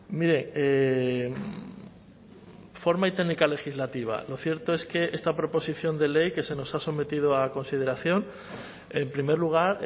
mire forma y técnica legislativa lo cierto es que esta proposición de ley que se nos ha sometido a consideración en primer lugar